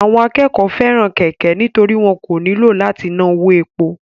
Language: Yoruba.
Àwọn akẹ́kọ̀ọ́ fẹ́ràn kẹ̀kẹ́ nítorí wọn kò nílò láti ná owó epo